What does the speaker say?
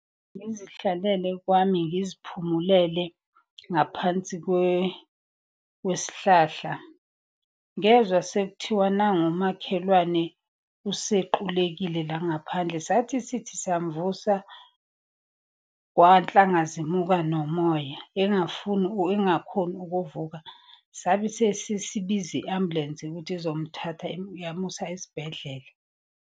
Ngizihlalele kwami ngiziphumulele ngaphansi kwesihlahla, ngezwa sekuthiwa nangu umakhelwane usequlekile la ngaphandle. Sathi sithi siyamvusa, kwanhlanga zimuka nomoya, engafuni engakhoni ukuvuka. Sabe sesibiza i-ambulensi ukuthi izomthatha yamusa esibhedlela.